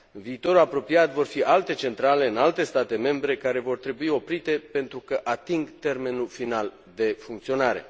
În viitorul apropiat vor fi alte centrale, în alte state membre, care vor trebui oprite pentru că ating termenul final de funcționare.